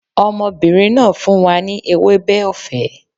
Ọmọbìnrin náà fún wa ní ewébẹ̀ ọ̀fẹ́